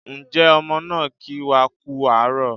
Ǹjẹ́ ọmọ náà kí wá kú àárọ̀